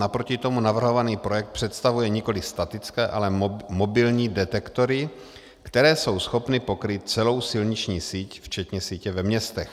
Naproti tomu navrhovaný projekt představuje nikoliv statické, ale mobilní detektory, které jsou schopny pokrýt celou silniční síť včetně sítě ve městech.